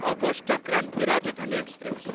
August Kranti Rajdhani express